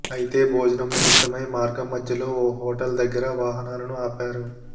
అయితే భోజనం నిమిత్తమై మార్గం మధ్యలో ఓ హోటల్ దగ్గర వాహనాలను ఆపారు